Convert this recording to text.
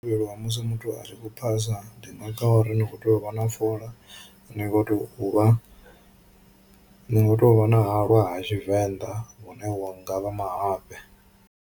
Musi muthu a tshi khou phasa ndi maga a uri ni kho tea u vha na fola, ni kho tea u vha ni kho tea u vha na halwa ha tshivenḓa hune ha ngavha mahafhe.